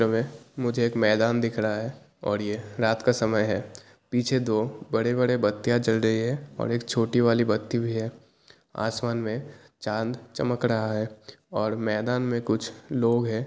मुजे एक मेदान दिख रहा है और यह रात का समय है पीछे दो बड़े-बड़े बतिया जल रही है और एक छोटी वाली बतिया भी है आसमान मे चाँद चमक रहा है और मेदान मे कुछ लोग है।